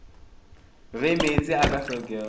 ge meetse a ka hlokega